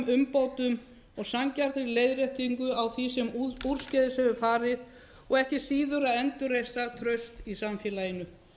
umbótum og sanngjarnri leiðréttingu því sem úrskeiðis hefur farið og ekki síður endurreist starfstraust í samfélaginu